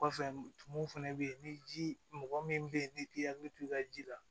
Kɔfɛ tumu fana bɛ ye ni ji mɔgɔ min bɛ yen ni k'i hakili to i ka ji la